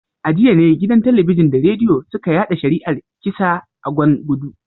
A jiya ne gidan Talabijin da Rediyo suka yada shari’ar kisa a Gwan gudu